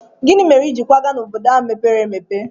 Gịnị mere i ji kwaga n'obodo ahụ mepere emepe?